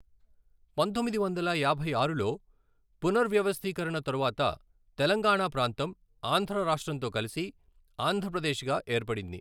పంతొమ్మిది వందల యాభై ఆరులో పునర్వ్యవస్థీకరణ తరువాత, తెలంగాణా ప్రాంతం ఆంధ్ర రాష్ట్రంతో కలిసి ఆంధ్రప్రదేశ్గా ఏర్పడింది.